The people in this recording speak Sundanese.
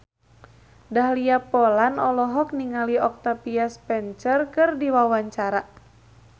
Dahlia Poland olohok ningali Octavia Spencer keur diwawancara